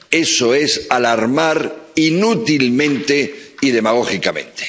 Eso es alarmar inútilmente y demagógicamente.